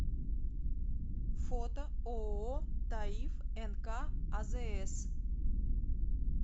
фото ооо таиф нк азс